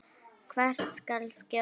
Hvert skal skjóta?